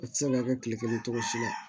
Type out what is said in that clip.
A tɛ se ka kɛ kile kelen tɔgɔ si ye